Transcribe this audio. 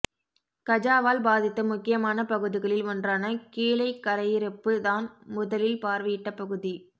கஜாவால் பாதித்த முக்கியமான பகுதிகளில் ஒன்றான கீழைக்கரையிருப்பு தான் முதலில் பார்வையிட்ட பகுதி